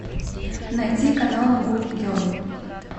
найти канал гули герл